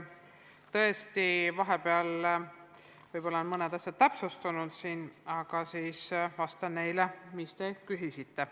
Tõesti, vahepeal on mõned asjad täpsustunud, aga vastan selle kohta, mis te küsisite.